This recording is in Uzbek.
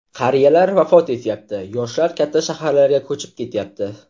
Qariyalar vafot etyapti, yoshlar katta shaharlarga ko‘chib ketyapti.